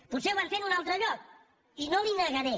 potser ho van fer en un altre lloc i no li ho negaré